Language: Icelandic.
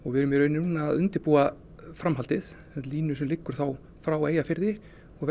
við erum í raun núna að undirbúa framhaldið línu sem liggur frá Eyjafirði